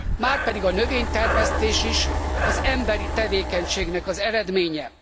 Márpedig a növénytermesztés is az emberi tevékenységnek az eredménye.